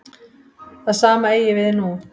Það sama eigi við nú.